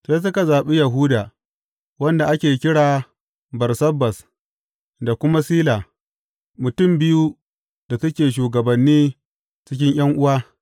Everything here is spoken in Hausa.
Sai suka zaɓi Yahuda wanda ake kira Barsabbas da kuma Sila, mutum biyu da suke shugabanni cikin ’yan’uwa.